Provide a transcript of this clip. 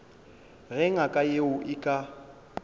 ge ngaka yeo e ka